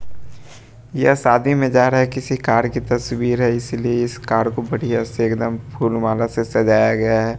ये शादी में जा रहा है किसी कार की तस्वीर है इसलिए इस कार को बढ़िया से एकदम फूल माला से सजाया गया है।